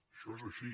això és així